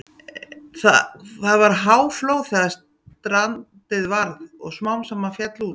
Það var háflóð þegar strandið varð og smám saman féll út.